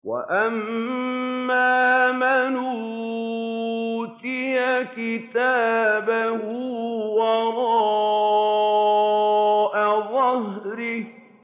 وَأَمَّا مَنْ أُوتِيَ كِتَابَهُ وَرَاءَ ظَهْرِهِ